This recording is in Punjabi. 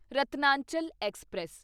ਰਤਨਾਚਲ ਐਕਸਪ੍ਰੈਸ